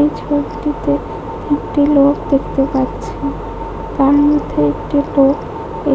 এই ছবিটিতে একটি লোক দেখতে পাচ্ছি তার মধ্যে একটি লোক